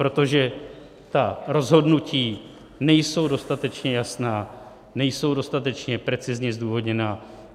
Protože ta rozhodnutí nejsou dostatečně jasná, nejsou dostatečně precizně zdůvodněná.